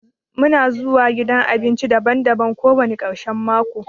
Muna zuwa gidan abinci daban-daban kowani karshen mako.